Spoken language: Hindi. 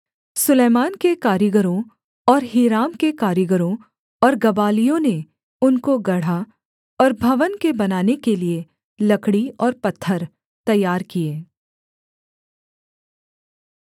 सुलैमान के कारीगरों और हीराम के कारीगरों और गबालियों ने उनको गढ़ा और भवन के बनाने के लिये लकड़ी और पत्थर तैयार किए